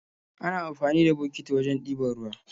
Ana amfani da bokiti wajen ɗiban ruwa